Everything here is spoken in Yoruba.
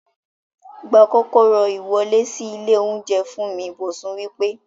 Gba kókóró iwọle si ile ounjẹ fún mi! Bosun wí pé